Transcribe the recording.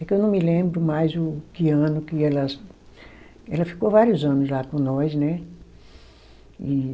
É que eu não me lembro mais o que ano que elas... Ela ficou vários anos lá com nós, né? E